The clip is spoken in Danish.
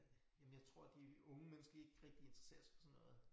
Jamen jeg tror de unge mennesker ikke rigtig interesserer sig for sådan noget